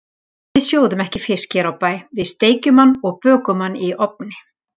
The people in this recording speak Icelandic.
Við sjóðum ekki fisk hér á bæ, við steikjum hann og bökum hann í ofni.